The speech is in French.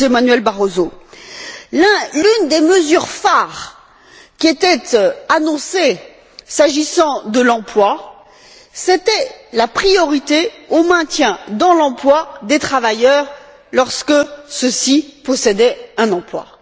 José Manuel Barroso, l'une des mesures phares qui était annoncée s'agissant de l'emploi, c'était la priorité au maintien de l'emploi des travailleurs lorsque ceux ci possédaient un emploi.